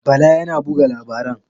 Bala yana buga labaran?